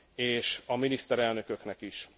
és a miniszterelnököknek is.